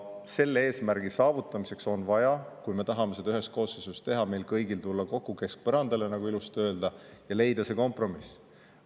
Selle eesmärgi saavutamiseks on vaja, kui me tahame seda ühes koosseisus teha, meil kõigil tulla kokku keskpõrandale, nagu ilusti öeldakse, ja leida see kompromiss.